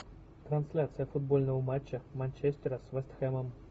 трансляция футбольного матча манчестера с вест хэмом